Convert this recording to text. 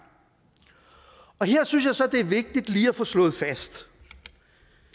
her synes jeg så det er vigtigt lige at få slået fast